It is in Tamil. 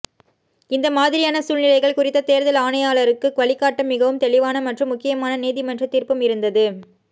இந்த மாதிரியான சூழ்நிலைகள் குறித்து தேர்தல் ஆணையாளருக்கு வழிகாட்ட மிகவும் தெளிவான மற்றும் முக்கியமான நீதிமன்ற தீர்ப்பும் இருந்தது